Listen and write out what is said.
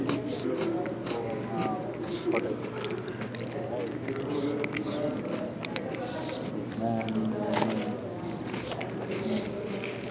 ਉਹ ਨਾ ਮੇਰੇ ਪੁਟੇ ਵਾਏ ਹੋਏ ਹਾਣਾ ਚੰਗੇ ਮੇਨੂ ਸੀ ਗਾ ਨਾਈ ਯਾਰ ਨਾਮ ਲਿਆ